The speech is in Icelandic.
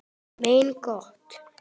Mein Gott!